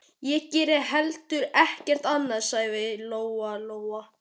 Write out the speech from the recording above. Ég geri heldur ekkert annað, sagði Lóa-Lóa.